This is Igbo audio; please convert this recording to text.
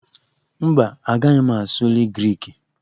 Mba, agaghị m asụli Griki